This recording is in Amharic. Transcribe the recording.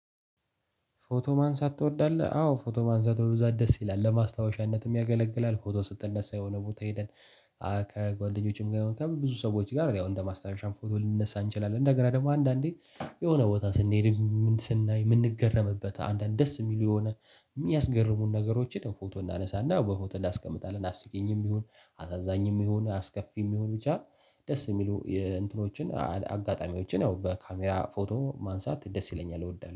ፎቶ ማንሳት ትወዳለህ? አዎ ፎቶ ማንሳት በብዛት ደስ ይላል ለማስታወሻነትም ያገለግላል ፎቶ ስትነሳ የሆነ ቦታ ሄደህ። ከጓደኞችም ጋር ከብዙ ሰዎች ጋር ያው እንደ ማስታወሻም ፎቶ ልንነሳ እንችላለን። እንደገና ደግሞ አንዳንዴ የሆነ ቦታ ስንሄድ ምን ስናይ የምንገረምበት አንዳንድ ደስ የሚሉ የሆነ የሚያስገርሙን ነገሮችን ያው ፎቶ እናነሳና ያው በፎቶ እናስቀምጣለን። አስቂኝም ቢሆን አሳዛኝም ቢሆን አስከፊም ቢሆን። ደስ የሚሉ የእንትኖችን አጋጣሚዎችን ያው በካሜራ ፎቶ ማንሳት ደስ ይለኛል እወዳለሁ